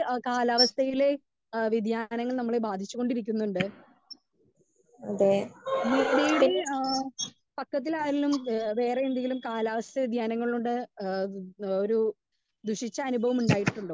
Speaker 2 കാലാവസ്ഥലെ വ്യെധിയാനങ്ങൾ ഞങ്ങളെ ബാധിച്ച് കൊണ്ടിരിക്കുന്നുണ്ട്. മീഡിയറി ആ പക്കത്തിലാണ് വേറെ എന്തെങ്കിലും കാലാവസ്ഥ വേദിയനങ്ങളുടെ ഒരു ദുഷിച്ച അനുഭവം ഉണ്ടായിട്ടുണ്ടോ?